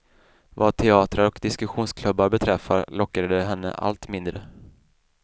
Vad teatrar och diskussionsklubbar beträffar, lockade de henne allt mindre.